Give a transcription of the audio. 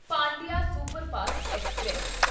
Pandian superfast express